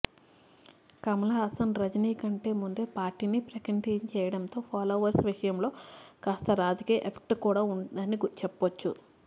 కమల్ హాసన్ రజినీ కంటే ముందే పార్టీని ప్రకటించేయడంతో ఫాలోవర్స్ విషయంలో కాస్త రాజకీయ ఎఫెక్ట్ కూడా ఉందని చెప్పొచ్చు